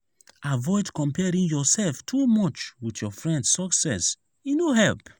avoid comparing yourself too much with your friend’s success; e no help.